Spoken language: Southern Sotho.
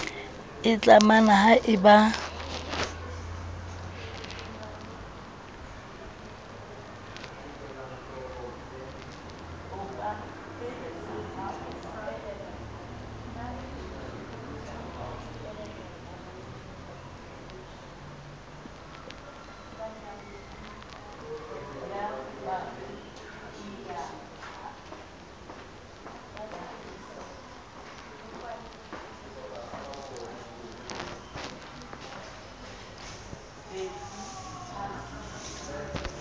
e tlamang ha e ba